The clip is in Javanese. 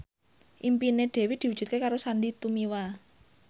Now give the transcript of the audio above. impine Dewi diwujudke karo Sandy Tumiwa